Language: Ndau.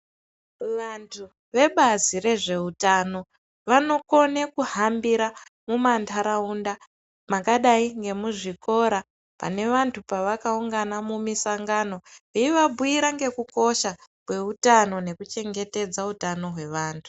Vantu vebazi rezve utano vanokone kuhambira mumanharaunda mwakadai ngemuzvikora pane vantu pavakaungana mumisangano veivabhuyira ngekukosha kweutano nekuchengetedza utano hwevantu.